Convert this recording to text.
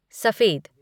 सफेद